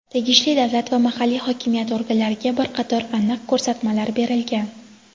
tegishli davlat va mahalliy hokimiyat organlariga bir qator aniq ko‘rsatmalar berilgan.